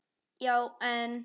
Já, en.